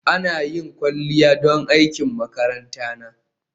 Ina yin kwalliya don aikin makaranta na